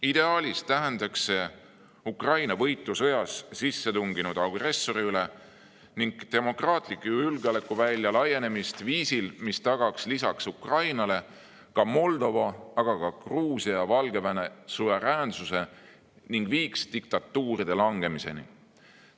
Ideaalis tähendaks see Ukraina võitu sõjas sissetunginud agressori üle ning demokraatliku julgeolekuvälja laienemist viisil, mis tagaks lisaks Ukrainale Moldova, aga ka Gruusia ja Valgevene suveräänsuse ning viiks diktatuuride langemiseni.